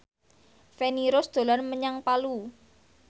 Feni Rose dolan menyang Palu